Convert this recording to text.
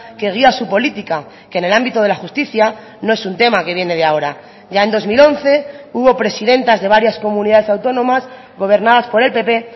que guía su política que en el ámbito de la justicia no es un tema que viene de ahora ya en dos mil once hubo presidentas de varias comunidades autónomas gobernadas por el pp